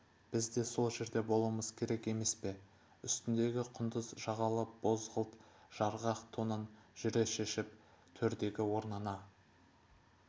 біз де сол жерде болуымыз керек емес пе үстіндегі құндыз жағалы бозғылт жарғақ тонын жүре шешіп төрдегі орнына